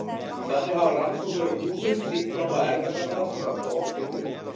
Þannig hafa rannsóknir á músum sýnt fram á erfðagalla sem valda offitu.